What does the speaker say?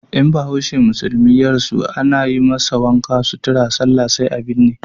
In bahaushe musulmi ya rasu ana yi masa wanka, sutura, sallah sai a binne.